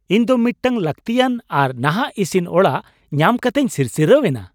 ᱤᱧ ᱫᱚ ᱢᱤᱫᱴᱟᱝ ᱞᱟᱹᱠᱛᱤᱭᱟᱱ ᱟᱨ ᱱᱟᱦᱟᱜ ᱤᱥᱤᱱ ᱚᱲᱟᱜ ᱧᱟᱢ ᱠᱟᱛᱮᱧ ᱥᱤᱨᱥᱤᱨᱟᱣ ᱮᱱᱟ ᱾